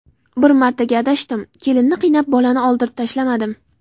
Bir martaga adashdim, kelinni qiynab bolani oldirib tashlamadim.